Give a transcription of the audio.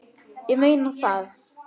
Ég meina það.